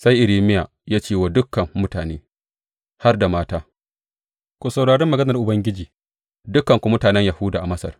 Sai Irmiya ya ce wa dukan mutane, har da mata, Ku saurari maganar Ubangiji, dukanku mutanen Yahuda a Masar.